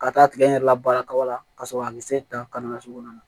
Ka taa tigɛ n yɛrɛ la baara kaba la ka sɔrɔ a bɛ se ta ka nasugu na